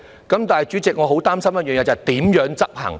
可是，主席，我很擔心一點，就是如何執行。